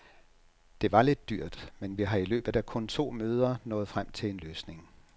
Det var lidt dyrt, men vi har i løbet af kun to møder nået frem til en løsning.